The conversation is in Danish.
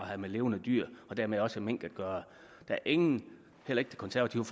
har med levende dyr og dermed også mink at gøre der er ingen heller ikke det konservative